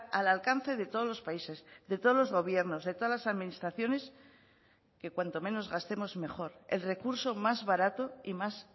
al alcance de todos los países de todos los gobiernos de todas las administraciones que cuanto menos gastemos mejor el recurso más barato y más